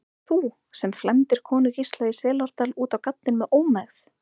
Þú, sem flæmdir konu Gísla í Selárdal út á gaddinn með ómegð.